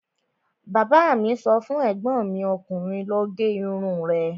Bàbá mi sọ fún ègbọ́n mi ọkùnrin 'lọ gé irun rẹ'